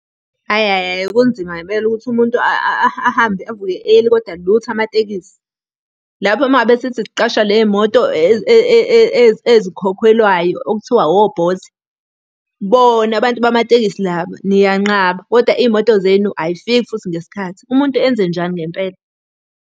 Hhayi hhayi hhayi kunzima ngempela ukuthi umuntu ahambe avuke early kodwa lutho amatekisi. Lapho uma ngabe sithi siqasha le y'moto ezikhokhelwayo okuthiwa o-Bolt, bona abantu bamatekisi laba, niyanqaba, kodwa iy'moto zenu ayifiki futhi ngesikhathi. Umuntu enze njani ngempela?